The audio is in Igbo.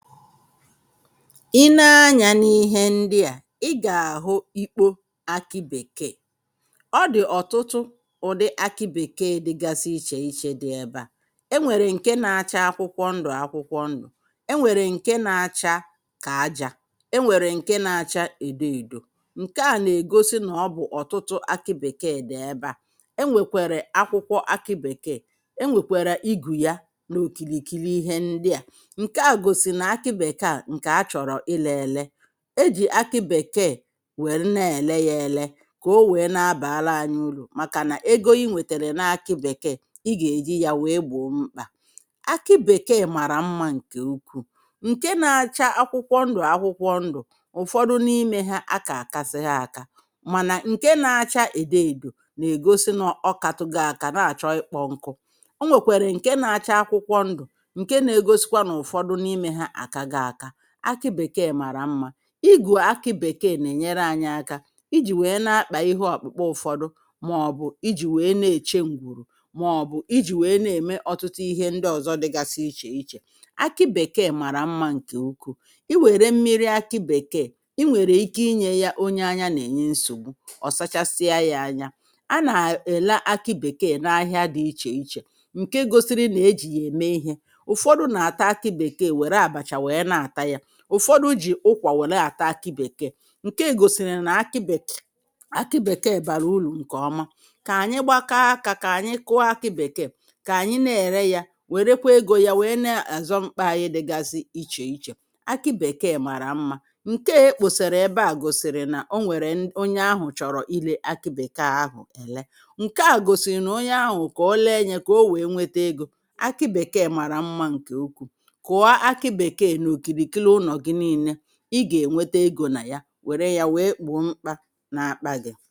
Ị nee anyȧ n’ihe ndị à, ị gà-àhụ ikpo akị bèkee, ọ dị̀ ọ̀tụtụ ụ̀dị akị bèkee dịgasị ichè iche dị ebe à, e nwèrè ǹke na-acha akwụkwọ ndụ̀ akwụkwọ ndụ̀, e nwèrè ǹke na-acha kà ajȧ, e nwèrè ǹke na-acha èdo èdò ǹke à n’ègosi nà ọ bụ̀ ọ̀tụtụ akị bèkeè dị̀ ebe à, e nwèkwèrè akwụkwọ akị bèkeè e nwèkwèrè igù ya n’òkìlìkiri ihe ndị à. Nke a gosiri na akị bekee nke a chọrọ ịle ele. E jì akị bèkee wère nee èle ya èle kà o wèe na-abàla anyi urù màkà nà ego inwètèrè na akị bèkeè i gà-èji ya wèe gbòmkpà. Akị bèkeè màrà mmȧ ǹkè ukwuù ǹke na-acha akwụkwọ ndụ à akwụkwọ ndụ̀ ụ̀fọdụ n’imė ha akà àkasị ha aka mànà ǹke na-acha èdeèdò nà-ègosi n’ọkàtu go ákà na-àchọ ịkpọ́ nku. Ọ nwèkwèrè ǹke na-acha akwụkwọ ndụ̀ nke nà-ègosikwa n'ufodu n'ime ha akago aka, akị bèkeè màrà mmȧ ịgụ̀ akị bèkeè nà-ènyere anyị̇ aka ijì wèe na-akpà ihe ọkpụ̀kpa ụ̇fọdụ màọbụ̀ ijì wèe na-èche ǹgwùrù màọbụ̀ ijì wèe na-ème ọtụtụ ihe ndị ọ̀zọ dịgasi ichè ichè akị bèkeè màrà mmȧ ǹkè ukwu, i wère mmiri akị bèkeè i nwère ike inye ya onye anya nà-ènye nsògbu ọ̀sachasịa ya anya. A nà-èle akị bèkeè na-ahịa dị ichè ichè, ǹke gosiri nà-ejì yà ème ihė. Ufọdụ na-ata aki bekee were abacha were na-ata ya. Ụfọdụ jì ụkwà were àta akị bèkee, ǹke gòsìrì nà akị be[uh] akị bèkè bàrà urù ǹkè ọma. Kà ànyị gbakọ akȧ kà ànyị kụọ akị bèkèè, kà ànyị na-ère yȧ wèrekwa egȯ ya wèe na-àzọ mkpa anyị dịgasị iche iche. Akị bekee mara mma, nke a ekposara ebe a gosiri na onwere onye ahụ chọrọ ịle akị bekee ahụ ele, nkea gosi na onye ahụ ka ole nya ka ọ wee nweta ego. Akị bèkèè màrà mmȧ ǹke ukwuu, kụa akị bekee na okirikiri ụlọ gị nine, ị ga enweta ego na ya were ya wee gboo mkpa na-akpa